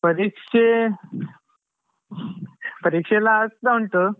ಪರೀಕ್ಷೇ ಪರೀಕ್ಷೆಯೆಲ್ಲ ಆಗ್ತಾ ಉಂಟು.